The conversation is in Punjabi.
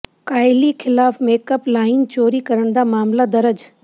ਕਾਇਲੀ ਖਿਲਾਫ ਮੇਕਅੱਪ ਲਾਈਨ ਚੋਰੀ ਕਰਨ ਦਾ ਮਾਮਲਾ ਦਰਜ